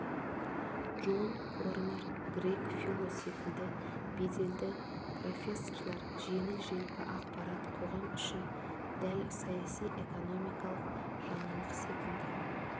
джон корнер грег фило секілді беделді профессорлар жеңіл-желпі ақпарат қоғам үшін дәл саяси-экономикалық жаңалық секілді